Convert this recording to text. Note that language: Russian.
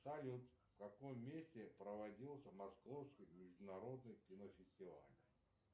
салют в каком месте проводился московский международный кинофестиваль